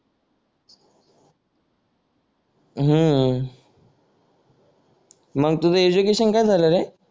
हम्म मग तुझं एडुकेशन काय झालं रे